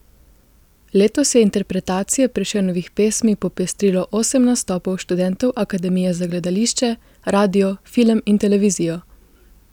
Letos je interpretacije Prešernovih pesmi popestrilo osem nastopov študentov Akademije za gledališče, radio, film in televizijo.